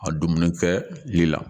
A dumuni kɛli la